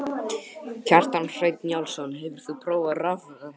Kjartan Hreinn Njálsson: Hefur þú prófað rafrettu?